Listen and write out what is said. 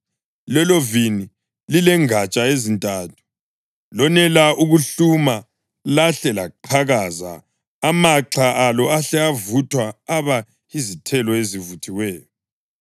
lelovini lilengatsha ezintathu. Lonela ukuhluma lahle laqhakaza, amaxha alo ahle avuthwa aba yizithelo ezivuthiweyo.